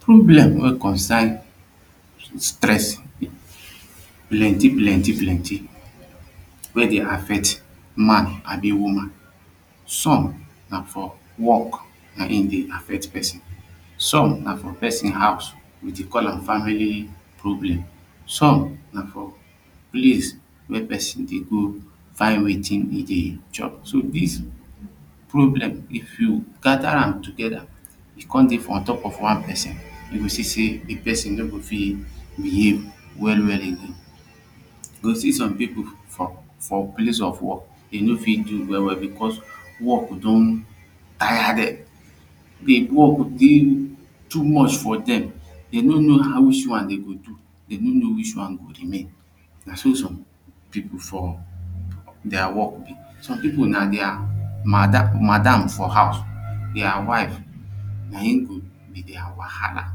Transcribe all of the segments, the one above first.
problem wey consign stressing plenty plenty plenty wey dey affect man an woman. some na from work him dey affect person some na from person house we dey call am family problem. some na from place wey person dey go find wetin e dey chop so this problem if you gather am together e come dey for ontop of one person e go see sey the person no go fit behave well well again. e go see some people for for place of work they no fit do well well because work don tire them the work dey too much for them they know know whuch one they go do. they no know which one go remain. na so some people for their work some people na their madam for house, their wife na him go be their wahala.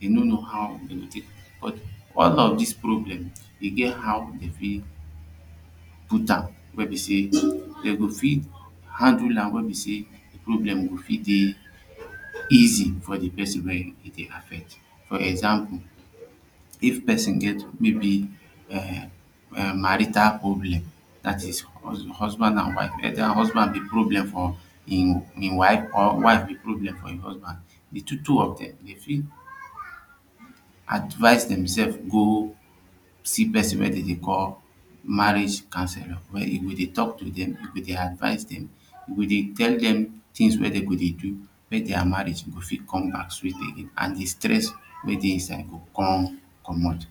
they no know how they go take all of these problems they get how they fit put am wey be sey they go fit handle am wey be sey problem go fit dey easy for the person wey him dey affect for example; if person get maybe um um marital problem that is husband and wife get their husband be problem for him wife or wife be problem for him husband the two two of them fit advise themsef go see person wey them dey call marriage councellor wey go dey talk to them dey advise them wey dey tell them things wey they go dey do make their marriage go fit come back sweet again an the stress wey dey inside come comot